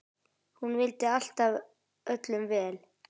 Hún vildi alltaf öllum vel.